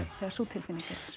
þegar sú tilfinning er